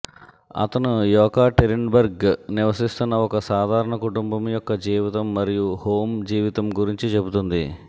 అతను యెకాటెరిన్బర్గ్ నివసిస్తున్న ఒక సాధారణ కుటుంబం యొక్క జీవితం మరియు హోమ్ జీవితం గురించి చెబుతుంది